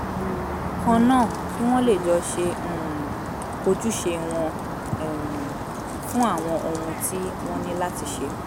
kan náà kí wọ́n lè jọ ṣe um ojúṣe wọn um fún àwọn ohun tí wọ́n ní láti ṣe